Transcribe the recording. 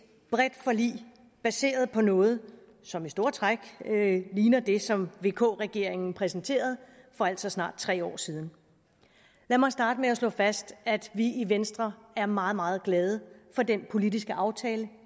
bredt forlig baseret på noget som i store træk ligner det som vk regeringen præsenterede for altså snart tre år siden lad mig starte med at slå fast at vi i venstre er meget meget glade for den politiske aftale